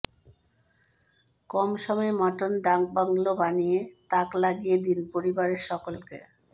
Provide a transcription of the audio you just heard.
কম সময়ে মটন ডাকবাংলো বানিয়ে তাক লাগিয়ে দিন পরিবারের সকলকে